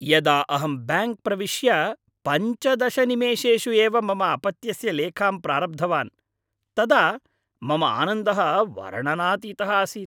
यदा अहं ब्याङ्क् प्रविश्य पञ्चदश निमेषेषु एव मम अपत्यस्य लेखां प्रारब्धवान् तदा मम आनन्दः वर्णनातीतः आसीत्।